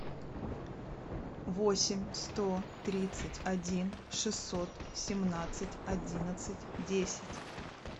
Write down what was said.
восемь сто тридцать один шестьсот семнадцать одиннадцать десять